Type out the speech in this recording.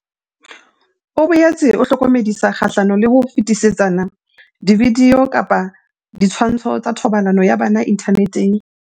O boetse a hlokomedisa kgahlano le ho fetisetsana dividio kapa ditshwantsho tsa thobalano ya bana inthaneteng.